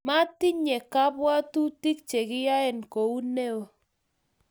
metinye kabwotutik che kiyoen kou noe